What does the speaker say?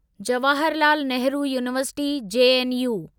Jawahar Lal Nehru university JNU